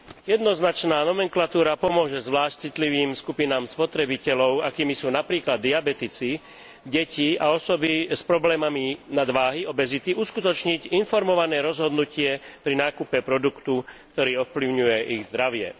Jednoznačná nomenklatúra pomôže zvlášť citlivým skupinám spotrebiteľov, akými sú napríklad diabetici, deti a osoby s problémami nadváhy, obezity, uskutočniť informované rozhodnutie pri nákupe produktu, ktorý ovplyvňuje ich zdravie.